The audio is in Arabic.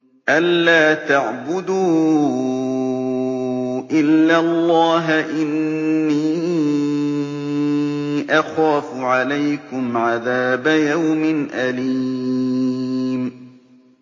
أَن لَّا تَعْبُدُوا إِلَّا اللَّهَ ۖ إِنِّي أَخَافُ عَلَيْكُمْ عَذَابَ يَوْمٍ أَلِيمٍ